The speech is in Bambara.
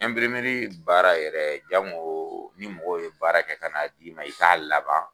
baara yɛrɛ jango ni mɔgɔ ye baara kɛ ka na d'i ma i k'a laban.